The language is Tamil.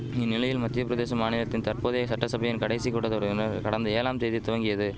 இந்நிலையில் மத்தியப்பிரதேச மாநிலத்தின் தற்போதைய சட்டசபையின் கடைசி கூட்டதொடரினர் கடந்த ஏழாம் தேதி துவங்கியது